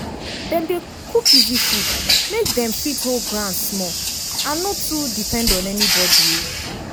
dem dey cook easy food make dem fit hold ground small and no too depend on anybody.